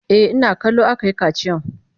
E, ina kallo aka yi kaciyan.